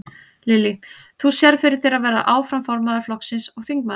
Lillý: Þú sérð fyrir þér að vera áfram formaður flokksins og þingmaður?